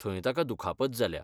थंय ताका दुखापत जाल्या.